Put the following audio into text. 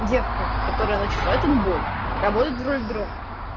девка которая начала этот бой работает в роллердроме